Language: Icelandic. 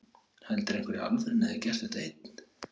Heldur einhver í alvörunni að ég hafi gert þetta einn?